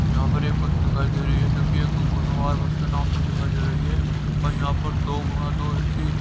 यहां पर एक बस दिखाई दे रही है जो कि एक कुनवार बस के नाम से दिखाई दे रही है और यहां पर दो गुना ए_सी --